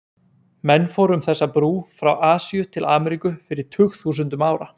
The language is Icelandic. Menn fóru um þessa brú frá Asíu til Ameríku fyrir tugþúsundum ára.